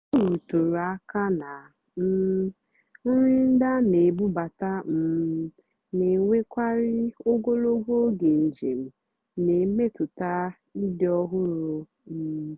ọ́ rụtụ́rụ́ àká nà um nrì ndí á nà-èbúbátá um nà-ènwékàrị́ ógòlógó ógè njèm nà-èmétụ́tá ị́dì́ ọ́hụ́rụ́. um